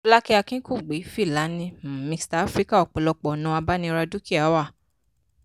akínkùgbe-filani um mixta africa ọpọ̀lọpọ̀ ọ̀nà abániradúkìá wà.